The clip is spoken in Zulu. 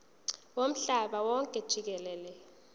womhlaba wonke jikelele